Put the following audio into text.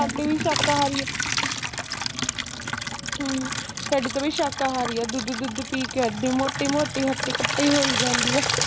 ਸਾਡੀ ਵੀ ਸ਼ਾਕਾਹਾਰੀ ਆ ਹਮ ਸਾਡੀ ਤਾਂ ਬਈ ਸ਼ਾਕਾਹਾਰੀ ਆ ਦੁੱਧੁ ਦੁੱਧੁ ਪੀ ਕੇ ਏਡੀ ਮੋਟੀ ਮੋਟੀ ਹੱਟੀ ਕੱਟੀ ਹੋਈ ਜਾਂਦੀ ਆ